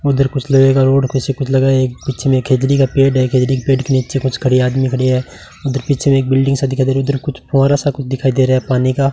उधर कुछ लगेगा रोड कुछ ही कुछ लगाए एक पीछे में खेजड़ी का पेड़ है खेजड़ी पेड़ के नीचे कुछ खड़े आदमी खड़े है उधर पीछे एक बिल्डिंग सा दिखाई दे रहा उधर कुछ फुहारा सा कुछ दिखाई दे रहा है पानी का।